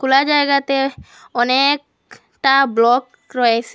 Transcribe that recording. কা জায়গাতে অনেক টা ব্লক রয়েসে।